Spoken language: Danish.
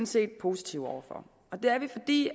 set positive over for og det er vi fordi